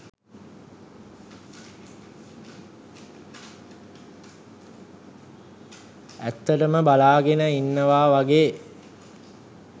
ඇත්තටම බලාගෙන ඉන්නවා වගේ